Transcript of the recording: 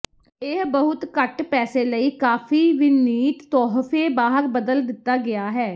ਇਹ ਬਹੁਤ ਘੱਟ ਪੈਸੇ ਲਈ ਕਾਫ਼ੀ ਵਿਨੀਤ ਤੋਹਫ਼ੇ ਬਾਹਰ ਬਦਲ ਦਿੱਤਾ ਗਿਆ ਹੈ